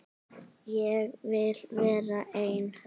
Ég vil vera einn.